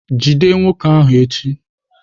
Jide nwoke ahu echi!